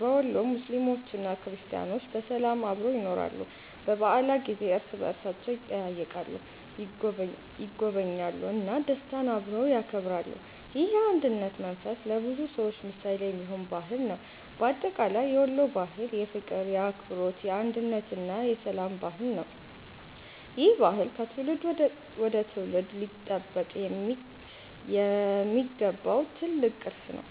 በወሎ ሙስሊሞችና ክርስቲያኖች በሰላም አብረው ይኖራሉ። በበዓላት ጊዜ እርስ በእርሳቸው ይጠያየቃሉ፣ ይጎበኛሉ እና ደስታን አብረው ያከብራሉ። ይህ የአንድነት መንፈስ ለብዙ ሰዎች ምሳሌ የሚሆን ባህል ነው። በአጠቃላይ የወሎ ባህል የፍቅር፣ የአክብሮት፣ የአንድነት እና የሰላም ባህል ነው። ይህ ባህል ከትውልድ ወደ ትውልድ ሊጠበቅ የሚገባው ትልቅ ቅርስ ነው።